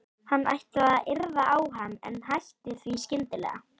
Hann ætlaði að yrða á hann en hætti því skyndilega.